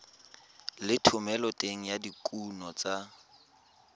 le thomeloteng ya dikuno tsa